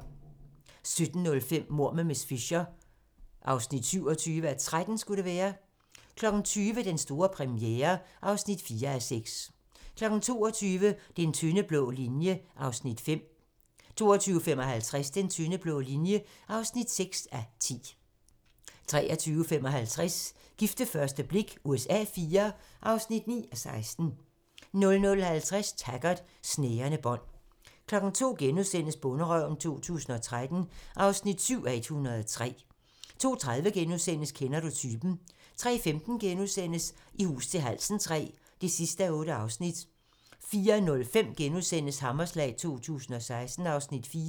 17:05: Mord med miss Fisher (27:13) 20:00: Den store premiere (4:6) 22:00: Den tynde blå linje (5:10) 22:55: Den tynde blå linje (6:10) 23:55: Gift ved første blik USA IV (9:16) 00:50: Taggart: Snærende bånd 02:00: Bonderøven 2013 (7:103)* 02:30: Kender du typen? * 03:15: I hus til halsen III (8:8)* 04:05: Hammerslag 2016 (Afs. 4)*